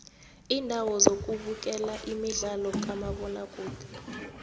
indawo zokubukela imidlalo kamabona kude